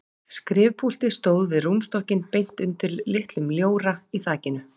Skrifpúltið stóð við rúmstokkinn beint undir litlum ljóra í þakinu.